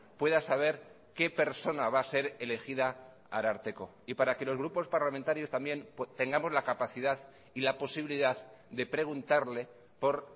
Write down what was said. pueda saber qué persona va a ser elegida ararteko y para que los grupos parlamentarios también tengamos la capacidad y la posibilidad de preguntarle por